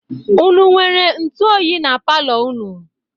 Unu nwere ntụ oyi na palọ unu?